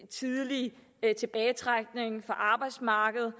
tidlig tilbagetrækning fra arbejdsmarkedet